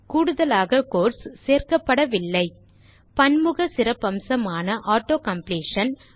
கூடுதலாக கோட்ஸ் சேர்க்கப்படவில்லை என்பதை கவனிக்கவும் பன்முக சிறப்பம்சமான auto காம்ப்ளீஷன்